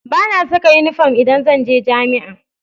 Ba na saka inifom idan zan je jami'a